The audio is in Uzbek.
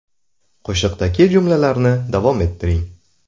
Qo‘shiqdagi jumlalarni davom ettiring.